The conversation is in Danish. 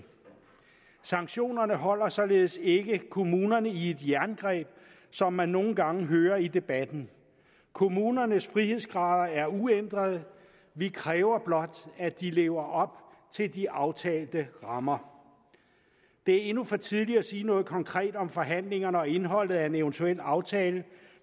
sanktionerne holder således ikke kommunerne i et jerngreb som man nogle gange hører i debatten kommunernes frihedsgrader er uændrede vi kræver blot at de lever op til de aftalte rammer det er endnu for tidligt at sige noget konkret om forhandlingerne og indholdet af en eventuel aftale